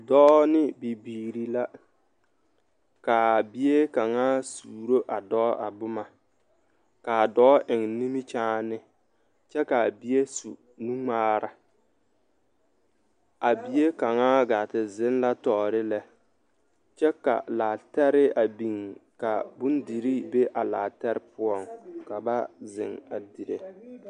Dɔɔ ne bibiiri la ka a bie kaŋa suuro a dɔɔ a boma ka a dɔɔ eŋ nimikyaane kyɛ ka a bie su nuŋmaara a bie kaŋa ɡaa te zeŋ la tɔɔre lɛ kyɛ ka laatɛre a biŋ ka bondirii be a laatɛre poɔ ka ba a zeŋ a dire.